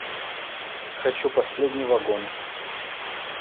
хочу последний вагон